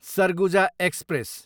Surguja express